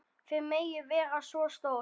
Þið megið vera svo stolt.